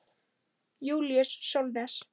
Júlíus Sólnes.